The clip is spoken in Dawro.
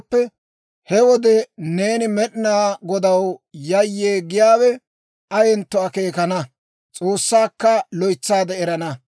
He wode neeni Med'inaa Godaw yayyee giyaawe ayentto akeekana; S'oossaakka loytsaade erana.